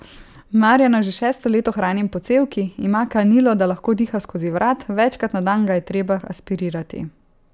Marjana že šesto leto hranim po cevki, ima kanilo, da lahko diha skozi vrat, večkrat na dan ga je treba aspirirati.